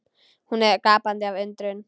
Hún er gapandi af undrun.